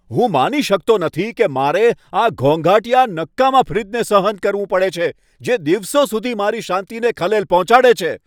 હું માની શકતો નથી કે મારે આ ઘોંઘાટીયા, નકામા ફ્રિજને સહન કરવું પડે છે, જે દિવસો સુધી મારી શાંતિને ખલેલ પહોંચાડે છે!